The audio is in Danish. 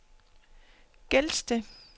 Gelsted